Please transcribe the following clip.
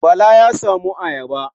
Bala ya samo ayaba.